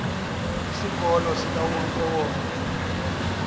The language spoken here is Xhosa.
isikolo sikawonke wonke